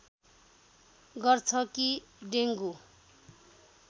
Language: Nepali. गर्छ कि डेङ्गु